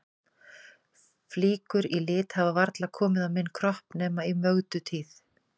Flíkur í lit hafa varla komið á minn kropp nema í Mögdu tíð.